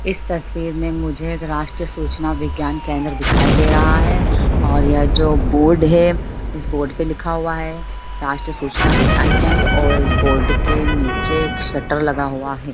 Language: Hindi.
इस तस्वीर में मुझे एक राष्ट्रीय सूचना विज्ञान केंद्र दिखाई दे रहा है और यह जो बोर्ड है इस बोर्ड पे लिखा हुआ है राष्ट्रीय सूचना विज्ञान केंद्र और इस बोर्ड के नीचे एक शटर लगा हुआ है।